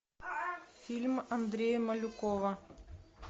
фильм андрея малюкова